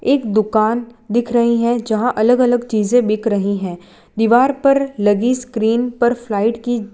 एक दुकान दिख रही है जहां अलग अलग चीजें बिक रही हैं दीवार पर लगी स्क्रीन पर फ्लाइट की --